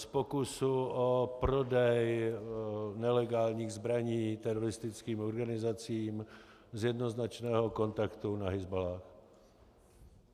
Z pokusu o prodej nelegálních zbraní teroristickým organizacím, z jednoznačného kontaktu na Hizballáh.